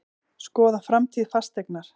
Skoða framtíð Fasteignar